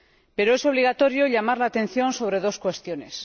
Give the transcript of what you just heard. pero es obligatorio llamar la atención sobre dos cuestiones.